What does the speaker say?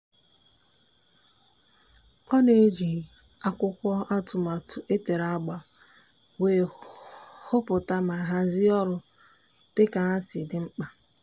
ọ na-eji akwụkwọ atụmatụ e tere agba wee hụpụta ma hazie ọrụ dịka ha si dị mkpa.